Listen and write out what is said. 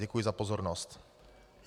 Děkuji za pozornost.